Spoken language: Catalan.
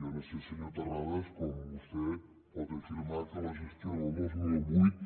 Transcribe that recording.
jo no sé senyor terrades com vostè pot afirmar que la gestió del dos mil vuit